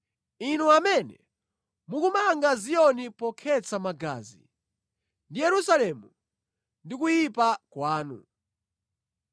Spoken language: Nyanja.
inu amene mukumanga Ziyoni pokhetsa magazi, ndi Yerusalemu ndi kuyipa kwanu.